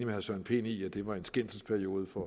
herre søren pind i at det var en skændselsperiode for